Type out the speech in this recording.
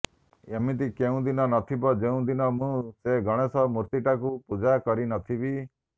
ଏମିତି କୋଉଦିନ ନଥିବ ଯୋଉ ଦିନ ମୁଁ ସେ ଗଣେଷ ମୂର୍ତ୍ତିଟାକୁ ପୂଜା କରି ନଥିବି